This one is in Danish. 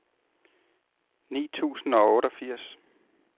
ni tusind og otteogfirs